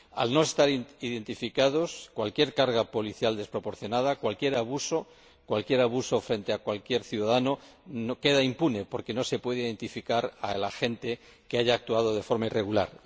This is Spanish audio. Al no estar identificados, cualquier carga policial desproporcionada, cualquier abuso frente a cualquier ciudadano, queda impune, porque no se puede identificar al agente que ha actuado de forma irregular.